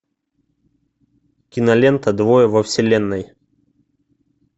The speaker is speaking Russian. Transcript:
кинолента двое во вселенной